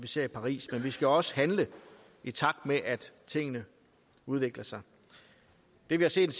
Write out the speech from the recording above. set i paris men vi skal også handle i takt med at tingene udvikler sig det vi har set